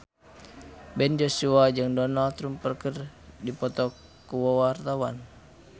Ben Joshua jeung Donald Trump keur dipoto ku wartawan